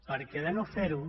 perquè de no ferho